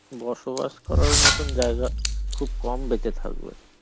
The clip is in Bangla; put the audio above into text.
বসবাস করার মতো জায়গা খুব কম বেঁচে থাকবে.